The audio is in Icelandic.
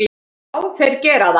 Já, þeir gera það.